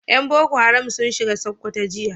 Yan boko haram sun shiga Sokoto jiya